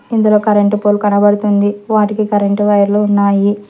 ఇందులో current pole కనబడుతుంది వాటికి కరెంటు వైర్లు ఉన్నాయి.